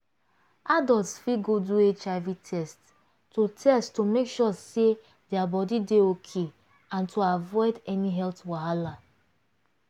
adults fit go do hiv test to test to make sure say their body dey okay and to avoid any health wahala.